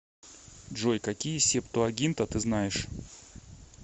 джой какие септуагинта ты знаешь